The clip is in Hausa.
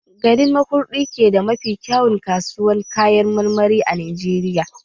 Garin Makurdi su ke da mafi kyauwan kasuwar Kayan marmari a Najeriya.